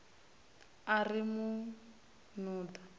a ri u mu nuḓa